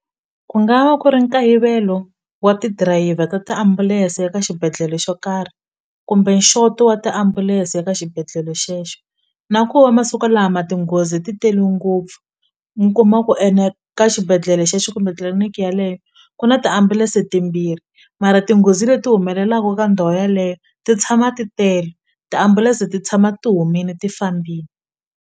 Ku nga va ku ri nkayivelo wa ti dirayivha ta tiambulense eka xibedhlele xo karhi kumbe nxoti wa tiambulense eka xibedhlele xexo na ku va masiku lama tinghozi ti tele ngopfu mi kuma ku ene ka xibedhlele xexo tliliniki yaleyo ku na tiambulense timbirhi mara tinghozi leti humelelaku ka ndhawu yeleyo ti tshama ti tele tiambulense ti tshama ti humini ti fambini.